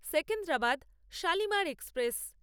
Secunderabad Shalimar express